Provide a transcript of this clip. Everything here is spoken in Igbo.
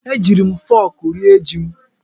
Ejiiri m fọk rie ji m.